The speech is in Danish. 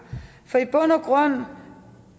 for i bund og grund